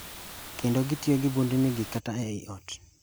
kendo gitiyo gi bundnigi kata ei ot.